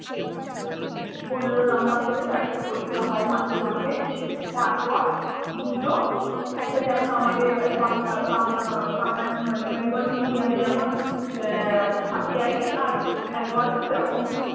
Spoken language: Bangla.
পনেরো number ক'রে চারটে পরীক্ষা হয় মাসে মাসে। তারপর দুটো একটা যেমন আমাদের বা~ বাংআ~ বাংআ~ বাঙালি মানে bengali medium এ যেমন এর half-yearly আর annual সেরকম